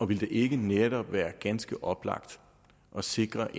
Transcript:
ville det ikke netop være ganske oplagt at sikre